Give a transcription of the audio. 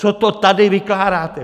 Co to tady vykládáte?